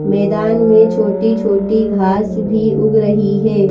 मैदान में छोटी छोटी घास भी उग रही है।